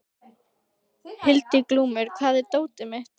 Hildiglúmur, hvar er dótið mitt?